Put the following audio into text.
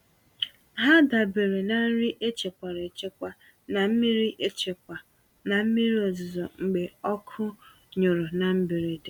Ha dabeere na nri e chekwara echekwa na mmiri echekwa na mmiri ozuzo mgbe ọkụ nyụrụ na mberede.